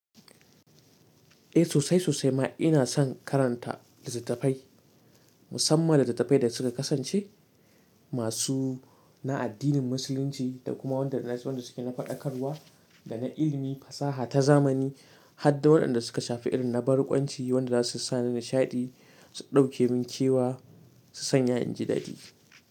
Eh sosai sosai ma ina son karanta littattafai, musamman littattafai da suka kasance masu na addinin musulunci da kuma waɗanda na ji waɗanda suke na faɗakarwa da na ilimi fasaha ta zamani, har da waɗanda suka shafi ilimin na barkwanci waɗanda zasu sa ni nishaɗi, su ɗauke min kewa, su sanya yin jidadi.